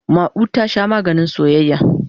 Ma'u ta Sha maganin soyayya.